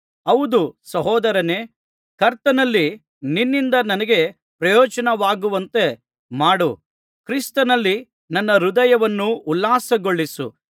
ಹೌದು ಸಹೋದರನೇ ಕರ್ತನಲ್ಲಿ ನಿನ್ನಿಂದ ನನಗೆ ಪ್ರಯೋಜನವಾಗುವಂತೆ ಮಾಡು ಕ್ರಿಸ್ತನಲ್ಲಿ ನನ್ನ ಹೃದಯವನ್ನು ಉಲ್ಲಾಸಗೊಳಿಸು